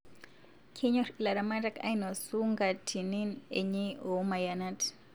Kenyor ilaramatak ainosu nkatinin enye omayanat